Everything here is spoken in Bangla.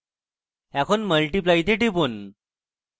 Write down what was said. এরপর multiply তে টিপুন